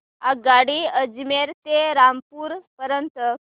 आगगाडी अजमेर ते रामपूर पर्यंत